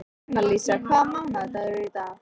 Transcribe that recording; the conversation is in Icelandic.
Annalísa, hvaða mánaðardagur er í dag?